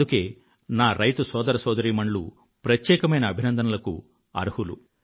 అందుకే నా రైతు సోదర సోదరీమణులు ప్రత్యేకమైన అభినందనలకు అర్హులు